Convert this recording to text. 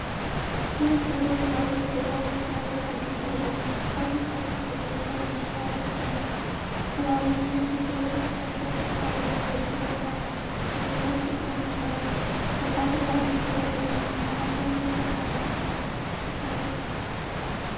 ነጭ የሆነ ባቡር በባቡር ጣቢያ ሐዲድ ላይ ቆሟል፤ ከፊት ለፊቱ በኢትዮጵያ ባንዲራ ያጌጠ ነው። ከባቡሩ ፊት ለፊት ሁለት ሰዎች ወታደራዊ ልብስ ለብሰው ሲቆሙ ይታያሉ። የባቡር ሀዲዱ ወደ ቀኝ የሚመራ ሲሆን፤ ጥርት ያለ ሰማይ ይታያል።